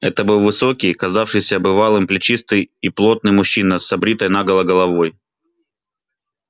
это был высокий казавшийся бывалым плечистый и плотный мужчина с обритой наголо головой